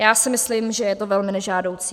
Já si myslím, že je to velmi nežádoucí.